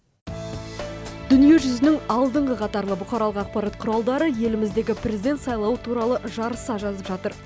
дүниежүзінің алдыңғы қатарлы бұқаралық ақпарат құралдары еліміздегі президент сайлауы туралы жарыса жазып жатыр